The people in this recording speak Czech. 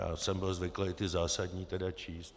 Já jsem byl zvyklý ty zásadní tedy číst.